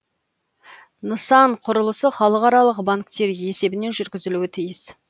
нысан құрылысы халықаралық банктер есебінен жүргізілуі тиіс